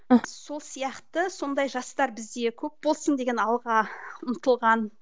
сол сияқты сондай жастар бізде көп болсын деген алға ұмтылған